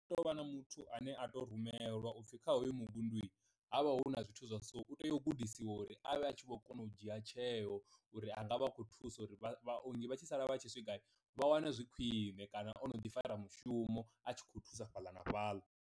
Tea u vha na muthu ane a to rumelwa upfhi kha hoyo muvhundu havha hu na zwithu zwa so u tea u gudisiwa uri avhe a tshi kho kona u dzhia tsheo, uri anga vha akhou thusa uri vha vhaongi vha tshi sala vha tshi swika vha wane zwi khwiṋe kana ono ḓi fara mushumo a tshi khou thusa fhaḽa na fhaḽa.